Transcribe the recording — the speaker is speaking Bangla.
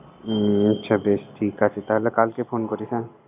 হুম আচ্ছা বেশ ঠিক আছে। তাহলে কালকে ফোন করিস আমাকে